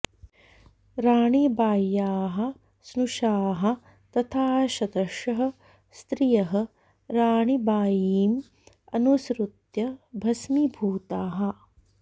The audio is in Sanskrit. राणीबाय्याः स्नुषाः तथा शतषः स्त्रियः राणीबायीम् अनुसृत्य भस्मीभूताः